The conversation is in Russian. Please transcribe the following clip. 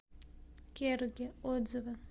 керуги отзывы